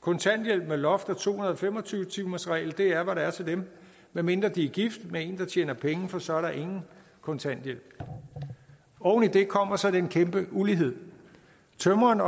kontanthjælp med loft og to hundrede og fem og tyve timersregel er hvad der er til dem medmindre de er gift med en der tjener penge for så er der ingen kontanthjælp oven i det kommer så den kæmpe ulighed tømreren